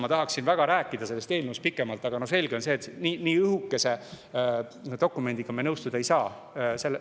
Ma tahaksin väga rääkida sellest eelnõust pikemalt, aga selge on see, et nii õhukese dokumendiga me nõustuda ei saa.